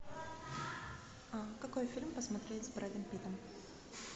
какой фильм посмотреть с брэдом питтом